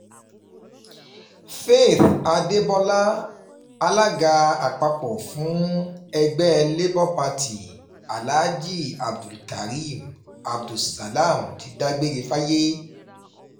faith adébọlá alága àpapọ̀ fún ẹgbẹ́ labour party alaají abdulkare abdul salam ti dágbére fáyé